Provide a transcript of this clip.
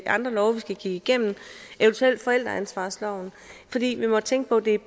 andre love vi skal kigge igennem eventuelt forældreansvarsloven for vi må tænke på at det er